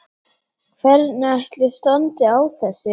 Hvernig ætli standi á þessu?